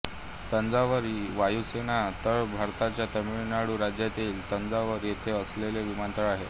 तंजावर वायुसेना तळ भारताच्या तामिळनाडू राज्यातील तंजावर येथे असलेला विमानतळ आहे